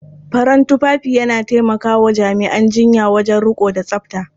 Farin tufafi ya taimaka wa jami'an jinya wajen riƙo da tsafta.